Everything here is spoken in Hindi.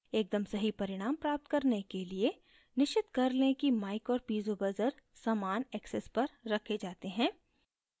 एकदम सही परिणाम प्राप्त करने के लिए निश्चित कर लें कि mic और piezo buzzer समान axis पर रखे जाते हैं